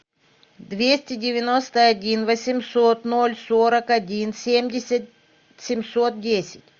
двести девяносто один восемьсот ноль сорок один семьдесят семьсот десять